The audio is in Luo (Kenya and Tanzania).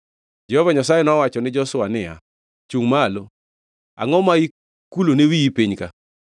Jehova Nyasaye nowacho ni Joshua niya, “Chungʼ malo! Angʼo ma ikulone wiyi piny ka?